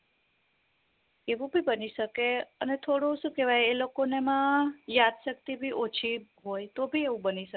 એવું ભી બની શકે અને થોડું દુ કેવાય એ લોકો ને માં યાદ શક્તિ ભી ઓછી હોય તો ભી એવું બની શકે